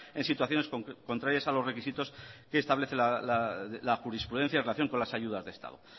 en situaciones contrarias a los requisitos que establece la jurisprudencia en relación con las ayudas de estado